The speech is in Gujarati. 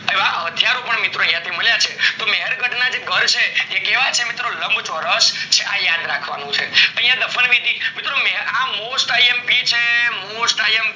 એવા હથિયારો પણ મિત્રો મળ્યા છે, મહેર્ગઢ ના જે ઘર છે એ કેવા છે લામ્ચોરસ છે આ યાદ રાખવાનું છે યા દફન વિધિ આ મિત્રો mostimp છે mostimp